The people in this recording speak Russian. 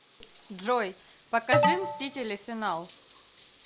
джой покажи мстители финал